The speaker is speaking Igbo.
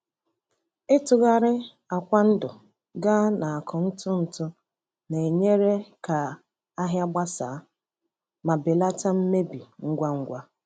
Ịtụgharị akwa ndụ gaa n’akụ ntụ ntụ na-enyere ka ahịa gbasaa ma belata mmebi ngwa ngwa.